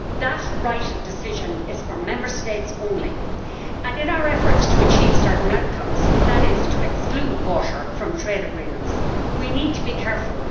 That right of decision is for Member States only, and in our efforts to achieve certain outcomes namely to exclude water from trade agreements we need to be careful.